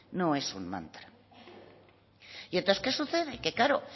no es un mantra y entonces qué sucede que claro